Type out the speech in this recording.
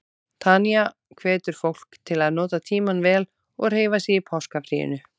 Tanya hvetur fólk til að nota tímann vel og hreyfa sig í páskafríinu.